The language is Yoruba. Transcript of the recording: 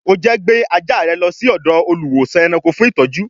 O jẹ́ gbé ajá rẹ lọ sí ọ̀dọ̀ olùwósàn-ẹranko fún ìtọ́jú